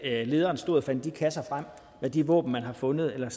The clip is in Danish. at lederen stod og fandt de kasser frem med de våben man havde fundet eller